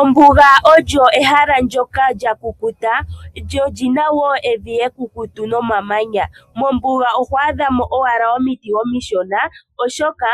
Ombuga olyo ehala ndyoka lya kukuta lyo olyina wo evi ekukutu nomamanya. Mombuga oho adha mo owala omiti omishona oshoka